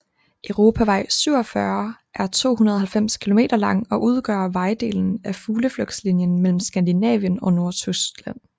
Europavej 47 er 290 km lang og udgør vejdelen af Fugleflugtslinjen mellem Skandinavien og Nordtyskland